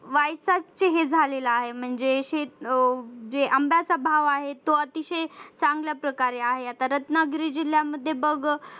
Y सातचे हे झालेलं आहे म्हणजे अह जे आंब्याचा भाव आहे तो अतिशय चांगल्या प्रकारे आहे आता रत्नागिरी जिल्ह्यामध्ये बघ